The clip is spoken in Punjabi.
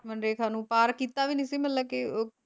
ਲਕਸ਼ਮਣ ਰੇਖਾ ਨੂੰ ਪਾਰ ਕੀਤਾ ਵੀ ਨਹੀਂ ਸੀ ਮਤਲਬ ਕੇ ਉਹ